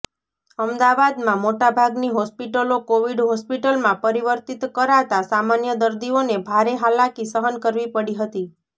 અમદાવાદમાં મોટાભાગની હોસ્પિટલો કોવિડ હોસ્પિટલમાં પરિવર્તિત કરાતા સામાન્ય દર્દીઓને ભારે હાલાકી સહન કરવી પડી હતી